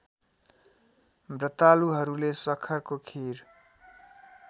ब्रतालुहरूले सखरको खीर